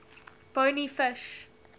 bony fish